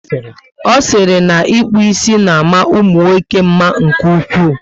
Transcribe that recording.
O siri na ịkpụ ísì na ama umunwoke mma nke ụkwụ